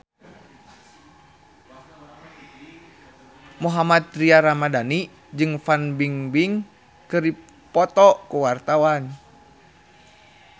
Mohammad Tria Ramadhani jeung Fan Bingbing keur dipoto ku wartawan